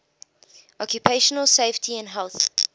occupational safety and health